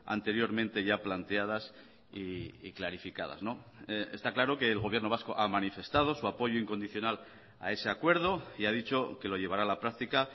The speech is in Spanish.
anteriormente ya planteadas y clarificadas está claro que el gobierno vasco ha manifestado su apoyo incondicional a ese acuerdo y ha dicho que lo llevará a la práctica